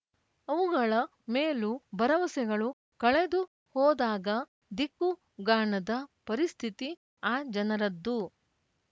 ಅವುಗಳ ಮೇಲೂ ಭರವಸೆಗಳು ಕಳೆದು ಹೋದಾಗ ದಿಕ್ಕು ಗಾಣದ ಪರಿಸ್ಥಿತಿ ಆ ಜನರದ್ದು